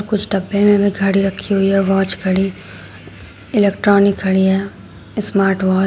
कुछ डब्बे में घड़ी रखी हुई वाॅच घड़ी इलेक्ट्रॉनिक घड़ियां स्मार्ट वॉच ।